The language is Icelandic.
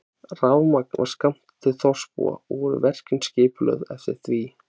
Rafmagn var skammtað til þorpsbúa og voru verkin skipulögð eftir því.